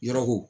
Yɔrɔ ko